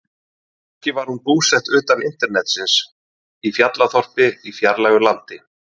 Kannski var hún búsett utan internetsins, í fjallaþorpi í fjarlægu landi.